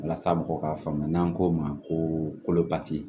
Walasa mɔgɔw k'a faamu n'an ko ma ko pati